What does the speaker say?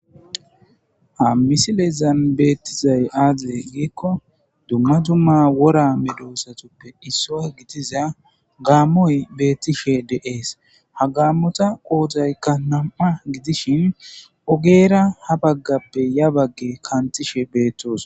Ha misilezan beettizay aaze giikko dumma dumma wora medosatuppe issoy gidiza gaammoy beettishe de7ees ha gaammota qoodaykka nam7a gidishin ogeera ha baggappe ya bagge kantishe beettoos